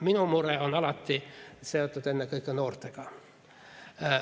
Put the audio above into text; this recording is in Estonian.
Minu mure on alati seotud ennekõike noortega.